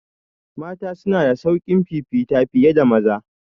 Mata suna da sauƙin fifita fiye da maza